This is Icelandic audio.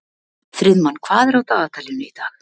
Friðmann, hvað er á dagatalinu í dag?